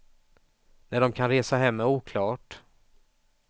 När de kan resa hem är oklart.